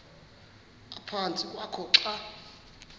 ephantsi kwakho xa